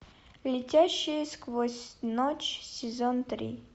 летящие сквозь ночь сезон три